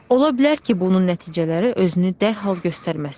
Ola bilər ki, bunun nəticələri özünü dərhal göstərməsin.